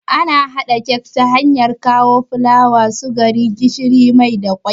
Ana haɗa kek ta hanyar kawo fulawa, sukari, gishiri, mai da kwai